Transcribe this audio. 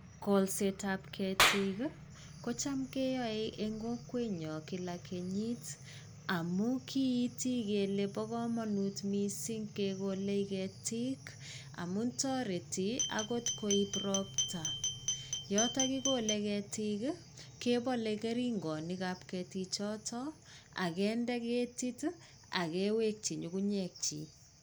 Kolsetab ketik kocham keyo eng kokwenyo kila kenyit. Amuu kiiti kelei bo kamanut missing kegolei ketik amu toreti akot koib ropta. Yoto kigole getik kebolei keringonikab ketichoto agende ketit agewekwi nyugunyek chik.